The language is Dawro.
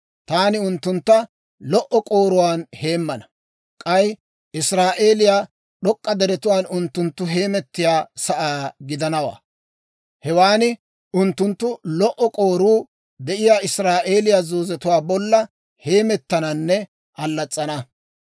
Taani unttuntta lo"o k'ooruwaan heemmana; k'ay Israa'eeliyaa d'ok'k'a deretuu unttunttu heemettiyaa sa'aa gidanawaa. Hewan unttunttu lo"o k'ooruu de'iyaa Israa'eeliyaa zoozetuwaa bolla heemettananne allas's'ana.